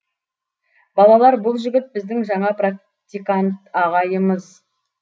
балалар бұл жігіт біздің жаңа практикант ағайымыз